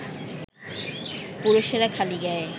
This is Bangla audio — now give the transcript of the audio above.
পুরুষেরা খালি গায়ে